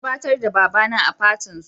An gabatar da baba na a fatin su